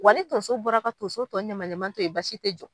Wa ni tonso bɔra ka tonso ɲɛma ɲɛma tɔ to yen basi tɛ jɔ